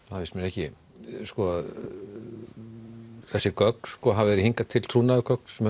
finnst mér ekki sko þessi gögn hafa hingað til trúnaðargögn sem